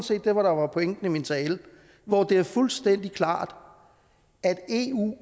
det der var pointen i min tale hvor det er fuldstændig klart at eu